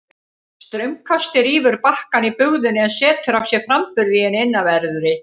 Straumkastið rýfur bakkann í bugðunni en setur af sér framburð í henni innanverðri.